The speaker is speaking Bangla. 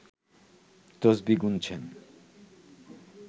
তসবিহ গুনছেন